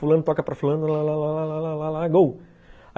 Fulano toca para fulano, lá lá lá lá lá lá lá, go!